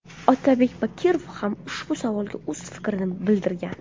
Otabek Bakirov ham ushbu savolga o‘z fikrini bildirgan.